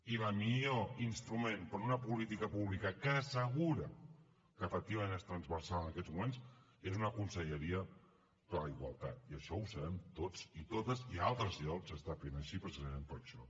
i el millor instrument per a una política pública que assegura que efectivament és transversal en aquests moments és una conselleria per a la igualtat i això ho sabem tots i totes i a altres llocs s’està fent així precisament per això